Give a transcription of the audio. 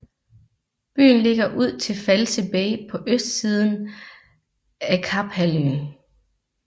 Byen ligger ud til False Bay på østsiden af Kaphalvøen